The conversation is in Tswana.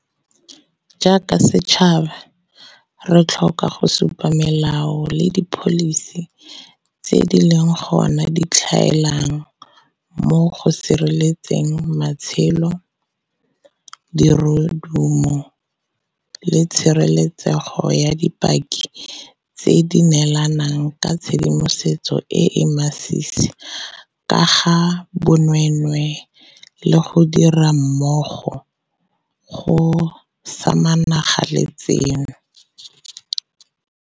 Jaaka setšhaba, re tlhoka go supa fao melao le dipholisi tse di leng gona di tlhaelang mo go sireletseng matshelo, dirodumo le tshireletsego ya dipaki tse di neelang ka tshedimosetso e e masisi ka ga bonweenwee le go dira mmogo go samagana le tseno.